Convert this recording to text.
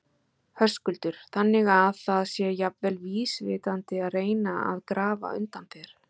Höskuldur: Þannig að það sé jafnvel vísvitandi að reyna að grafa undan þér?